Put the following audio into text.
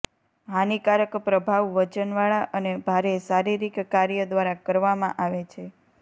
હાનિકારક પ્રભાવ વજનવાળા અને ભારે શારીરિક કાર્ય દ્વારા કરવામાં આવે છે